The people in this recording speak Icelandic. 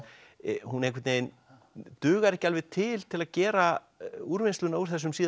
hún einhvern veginn dugar ekki alveg til til að gera úrvinnsluna úr þessum síðasta